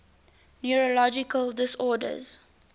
neurological disorders